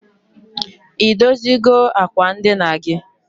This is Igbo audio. I dozigo akwa ndina gi?